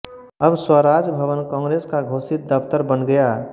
अब स्वराज भवन कांग्रेस का घोषित दफ़्तर बन गया